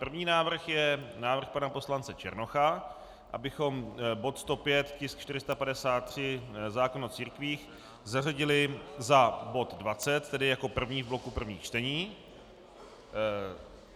První návrh je návrh pana poslance Černocha, abychom bod 105, tisk 453 zákon o církvích, zařadili za bod 20, tedy jako první v bloku prvních čtení.